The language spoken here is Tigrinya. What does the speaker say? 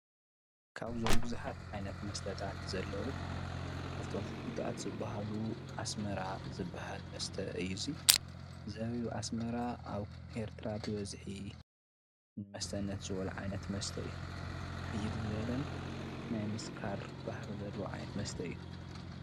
ካብዞም ቡዙሓት ዓይነት መስተታት ዘለው ካብቶም ፍሉጣት ዝበሃሉ አስማራ ዝበሃል መስተ እዩ፡፡ እዚ ዘቢብ አስማራ አብ ኤርትራ ተበፂሑ እዩ፡፡ መስተነት ዝበሉ ዓይነት መስተ እዩ፡፡ ሕይል ዝበለን ናይ ምስካር ባህረ ዘለዎ ዓይነት መስተ እዩ፡፡